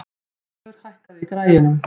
Þorleifur, hækkaðu í græjunum.